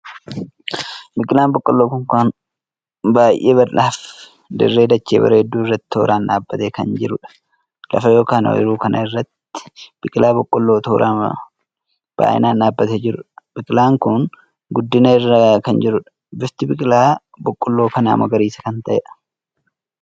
Biqilaan boqqolloo kun kan baay'ee bal'aa Fi dirree dachee bareeddu irratti tooraan dhaabbatee kan jiruudha. lafa ykn ooyiruu kana irratti biqilaa boqqolloo tooraan baay'inaan dhaabbatee jirudha. biqilaan kun guddina irra kanjirudha. bifti biqilaa boqqolloo kana magariisa kan taheedha.